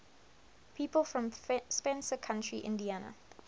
people from spencer county indiana